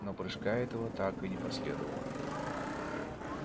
но прыжка этого так и не последовало